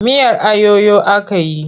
Miyar ayoyo aka yi.